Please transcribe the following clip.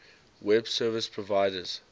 web service providers